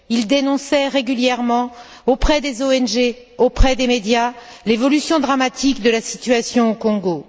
Il dénonçait régulièrement auprès des ONG, auprès des médias, l'évolution dramatique de la situation au Congo.